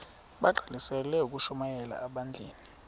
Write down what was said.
bagqalisele ukushumayela ebandleni